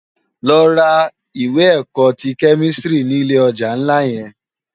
Lò rá iwè èkò ti kèmistiri ni ilé òjá nlá yèn